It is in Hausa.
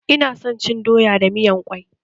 Ina son cin doya da miyan ƙwai